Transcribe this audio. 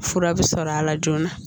Fura bɛ sɔrɔ a la joona